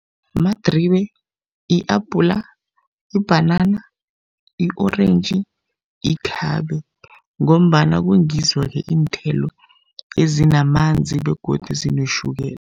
Madribe, i-apula, ibhanana, i-orentji, ikhabe ngombana kungizo-ke iinthelo ezinamanzi begodu zinetjhukela.